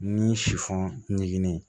Ni si fɔngen ye